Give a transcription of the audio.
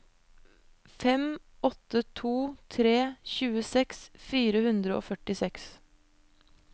fem åtte to tre tjueseks fire hundre og førtiseks